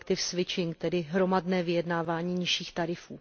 collective switching, tedy hromadné vyjednávání nižších tarifů.